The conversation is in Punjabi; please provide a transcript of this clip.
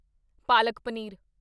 ਪਾਲਕ ਪਨੀਰ